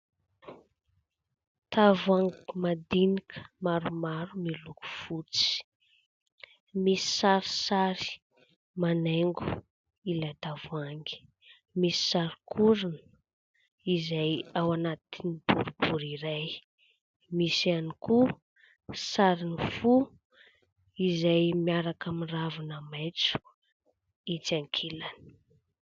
Tavoahangy madinika maromaro miloko fotsy, misy sarisary manaingo ilay tavoahangy, misy sary koa orona izay ao anatin'ny boribory iray, misy ihany koa sarina fo izay miaraka amin'ny ravina maitso itsy ankilany.